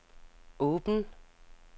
åben